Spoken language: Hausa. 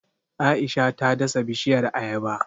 Aisha ta dasa bishiyar Ayaba